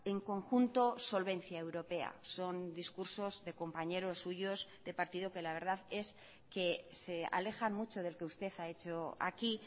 en conjunto solvencia europea son discursos de compañeros suyos de partido que la verdad es que se alejan mucho del que usted ha hecho aquí